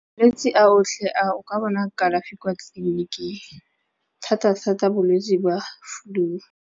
Malwetsi a otlhe a o ka bona kalafi kwa tleliniking thatathata bolwetsi jwa flu.